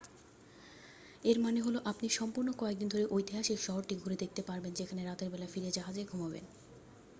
এর মানে হলো আপনি সম্পূর্ণ কয়েক দিন ধরে ঐতিহাসিক শহরটি ঘুরে দেখতে পারবেন যেখানে রাতের বেলা ফিরে জাহাজে ঘুমাবেন